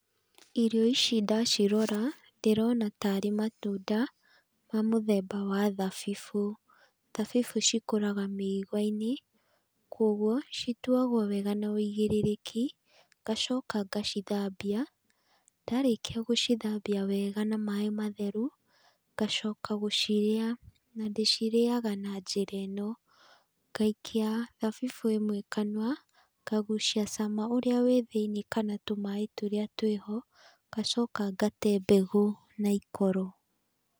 Irio ici ndacirora ndĩrona tarĩ matunda ma mũthemba wa thabibũ. Thabibũ cikũraga mĩigua-inĩ, kũoguo cituagwo wega na ũigĩrĩrĩki, ngacoka ngacithambia. Ndarĩkia gũcithambia wega na maĩ matheru, ngacoka gũcirĩa, na ndĩcirĩaga na njĩra ĩno, ngaikia thabibũ ĩmwe kanua, ngagucia cama ũrĩa wĩ thĩiniĩ kana tũmaĩ tũrĩa twĩho ngacoka ngate mbegũ na ikoro.